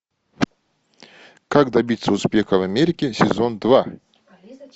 как добиться успеха в америке сезон два